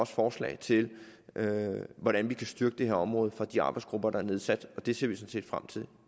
forslag til hvordan vi kan styrke det her område for de arbejdsgrupper der er nedsat og det ser vi sådan set frem til